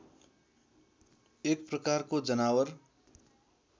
एक प्रकारको जनावर